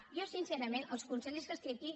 jo sincerament als consellers que estan aquí